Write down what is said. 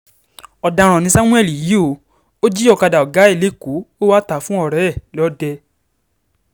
ọ̀daràn ni samuel yìí o ò jí ọ̀kadà ọ̀gá ẹ lẹ́kọ̀ọ́ o wàá tà á fún ọ̀rẹ́ ẹ lọ́dẹ